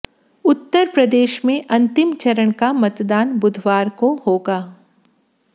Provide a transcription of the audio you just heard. उत्तरप्रदेश में अंतिम चरण का मतदान बुधवार को होगा